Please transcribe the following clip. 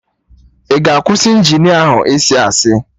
Ị ga akwụsị Injinia ahụ ịsị asị